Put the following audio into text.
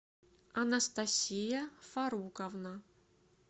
анастасия фаруковна